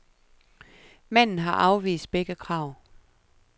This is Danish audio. Manden har afvist begge krav.